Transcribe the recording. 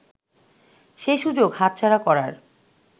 সে-সুযোগ হাতছাড়া করার